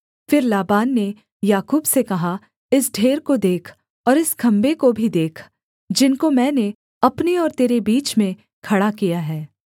फिर लाबान ने याकूब से कहा इस ढेर को देख और इस खम्भे को भी देख जिनको मैंने अपने और तेरे बीच में खड़ा किया है